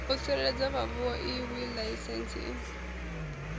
u tsireledzea havhoiyi laisentsi i